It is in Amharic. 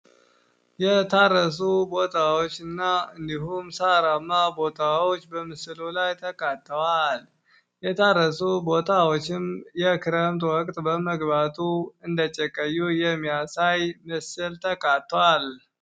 የታረሱ ቦታዎች እና እንዲሁም ሳራማ ቦታዎች በምስሉ ላይ ተካተዋል። የታረሱ ቦታዎችም የክረምት ወቅት በመግባቱ እንደጨቀዩ የሚያሳይ ምስል ተካቱዋል።